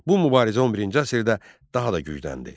Bu mübarizə 11-ci əsrdə daha da gücləndi.